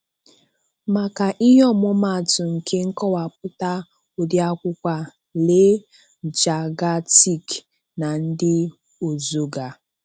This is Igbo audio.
Maka ihe ọmụmaatụ nke nkọwapụta ụdị akwụkwọ a, lee Jagatic na ndị ozoga.